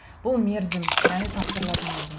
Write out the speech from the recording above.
бұл мерзім яғни тапсырылатын мерзім